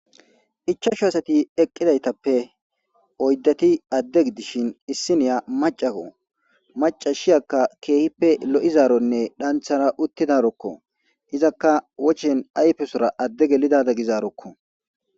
Ichashu asayi eqidayitappe oyidati ade gidishini isiniya maccako maccasiya kehippe loyizarone dhanithara utidaroko izaka wocheni ayifesorra ade gelizaroko